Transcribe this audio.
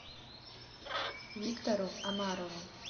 виктору омарову